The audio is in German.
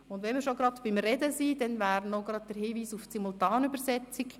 Da wir schon beim Thema «Sprechen» sind, hier noch ein Hinweis auf die Simultandolmetschung.